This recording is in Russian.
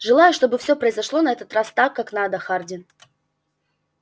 желаю чтобы всё произошло на этот раз так как надо хардин